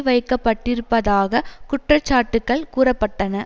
வைக்கப்பட்டிருப்பதாக குற்றச்சாட்டுக்கள் கூற பட்டன